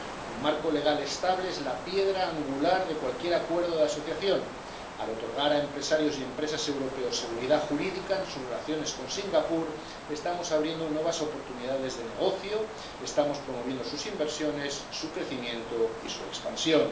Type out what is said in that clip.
Un marco legal estable es la piedra angular de cualquier acuerdo de asociación. Al otorgar a empresarios y empresas europeos seguridad jurídica en sus relaciones con Singapur, estamos abriendo nuevas oportunidades de negocio, estamos promoviendo sus inversiones, su crecimiento y su expansión.